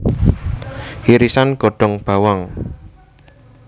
Irisan godhong bawang